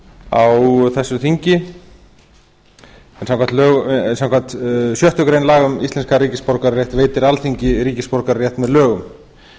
á þessu þingi en samkvæmt sjöttu grein laga um íslenskan ríkisborgararétt veitir veitir alþingi ríkisborgararétt með lögum